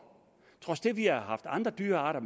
trods det at vi har haft andre dyrearter